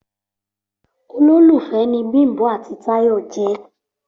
Olólùfé ni Bimbo àti tayo je